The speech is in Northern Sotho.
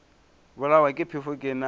bolawa ke phefo ke na